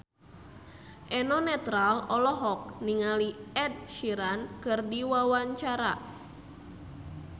Eno Netral olohok ningali Ed Sheeran keur diwawancara